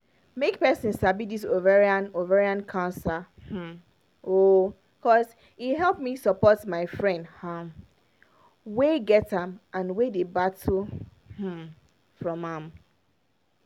make persin sabi this ovarian ovarian cancer um oooo cos e help me support my friend um wey get am and wey dey battle um from am